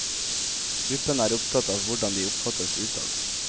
Gruppen er opptatt av hvordan de oppfattes utad.